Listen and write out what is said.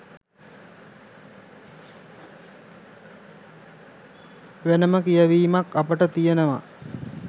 වෙනම කියවීමක් අපට තියෙනව.